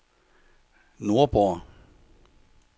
Nordborg